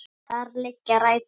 Þar liggja rætur okkar.